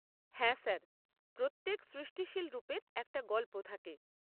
হ্যাঁ স্যার। প্রত্যেক সৃষ্টিশীল রূপের একটা গল্প থাকে।